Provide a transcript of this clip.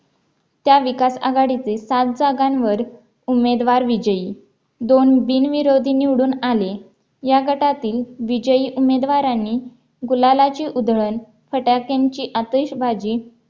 त्या विकास आघाडीचे सात जागांवर उमेदवार विजयी दोन बिनविरोधी निवडून आले या गटातील विजयी उमेदवारांनी गुलालाची उधळण फटाक्यांची अतिषबाजी